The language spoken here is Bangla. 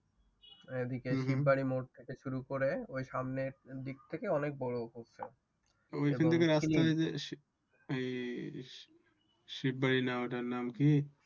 শীব বাড়ি মোড় থেকে শুরু করে ওই সামনের দিক থেকে অনেক বড় করছে ওইখান থেকে রাস্তায় যেতে শীব বাড়ি না ওইটার নাম কি